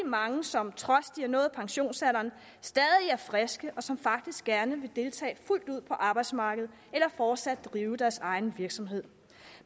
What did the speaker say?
mange som trods de har nået pensionsalderen stadig er friske og som faktisk gerne vil deltage fuldt ud på arbejdsmarkedet eller fortsat drive deres egen virksomhed